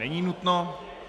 Není nutno.